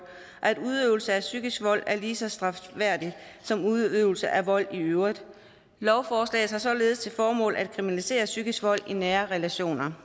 at udøvelse af psykisk vold er lige så strafværdigt som udøvelse af vold i øvrigt lovforslaget har således til formål at kriminalisere psykisk vold i nære relationer